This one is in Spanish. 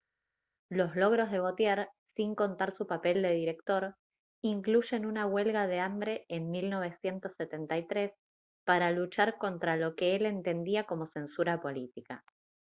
los logros de vautier sin contar su papel de director incluyen una huelga de hambre en 1973 para luchar contra lo que él entendía como censura política